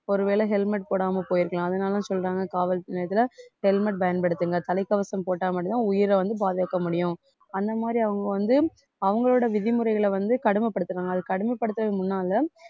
ஒருவேளை helmet போடாம போயிருக்கலாம் அதனால சொல்றாங்க காவல் நிலையத்துல helmet பயன்படுத்துங்க தலைக்கவசம் போட்டா மட்டும்தான் உயிரை வந்து பாதுகாக்க முடியும் அந்த மாதிரி அவுங்க வந்து அவுங்களோட விதிமுறைகளை வந்து கடுமைப்படுத்துறாங்க அதை கடுமைப்படுத்தறதுக்கு முன்னால